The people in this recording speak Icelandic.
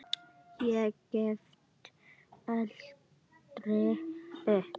Ég gefst aldrei upp.